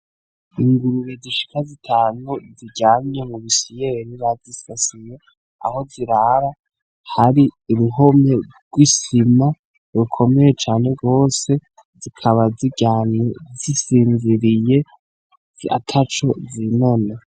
Ingurube zishika zitanu ziryamye mu bisiyeri bazisasiye aho zirara hari iruhomye rw'isima rukomeye cane rwose zikaba ziryamye zisinziriye ziracacuzi noneho.